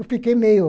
Eu fiquei meio...